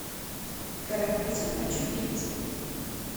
карапузы хочу видеть